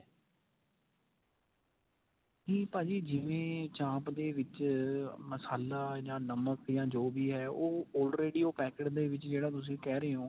ਇਹ ਭਾਜੀ ਜਿਵੇਂ ਚਾਂਪ ਦੇ ਵਿੱਚ ਮਸਾਲਾ ਜਾਂ ਨਮਕ ਜਾਂ ਜੋ ਵੀ ਏ ਉਹ already packet ਦੇ ਵਿੱਚ ਜਿਹੜਾ ਤੁਸੀਂ ਕਿਹ ਰਹੇ ਓ.